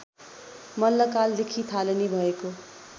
मल्लकालदेखि थालनी भएको